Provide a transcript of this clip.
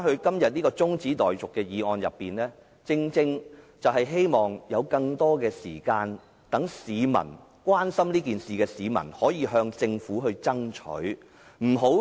今天的中止待續議案，正正是讓關心此事的市民有更多時間向政府爭取。